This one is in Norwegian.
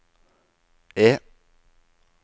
E